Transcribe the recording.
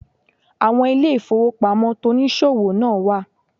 Àwon ilé ìfowópamọ́ tonìsòwò náà wà